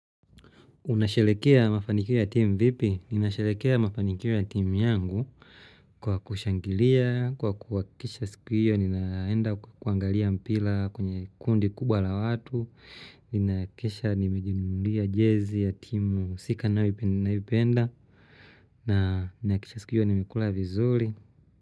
Unasherehekea mafanikio ya timu vipi? Ninasherehekea mafanikio ya timu yangu kwa kushangilia, kwa kuhakisha siku hiyo ninaenda kuangalia mpira kwenye kundi kubwa la watu. Ninahakikisha nimejinunulia jezi ya timu husika ninayoipenda na nahakikisha siku hiyo nimekula vizuri.